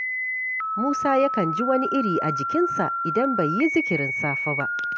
Musa yakan ji wani iri a jikinsa, idan bai yi zikirin safe ba